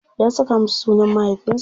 Ya saka masa sunan mahaifinsa.